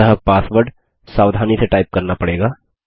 अतः पासवर्ड सावधानी से टाइप करना पड़ेगा